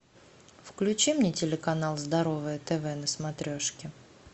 включи мне телеканал здоровое тв на смотрешке